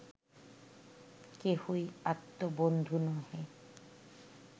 কেহই আত্মবন্ধু নহে